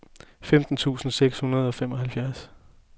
femten tusind seks hundrede og femoghalvtreds